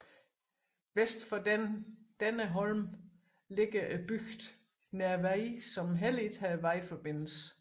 Vest for denne holm ligger bygden Nervei som heller ikke har vejforbindelse